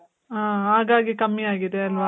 ಆ, ಹಾಗಾಗಿ ಕಮ್ಮಿ ಆಗಿದೆ ಅಲ್ವ.